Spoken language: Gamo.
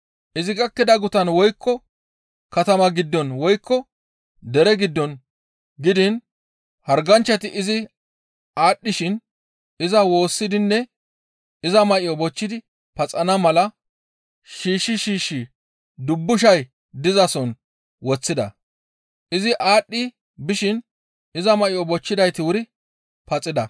Izi gakkida gutan woykko katama giddon woykko dere giddon gidiin harganchchati izi aadhdhishin iza woossidinne iza may7o bochchidi paxana mala shiishshi shiishshi dubbushay dizason woththida. Izi aadhdhi bishin iza may7o bochchidayti wuri paxida.